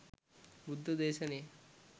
බුද්ධ දේශනය